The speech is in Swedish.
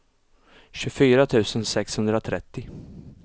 tjugofyra tusen sexhundratrettio